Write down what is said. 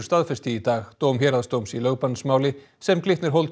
staðfesti í dag dóm héraðsdóms í lögbannsmáli sem Glitnir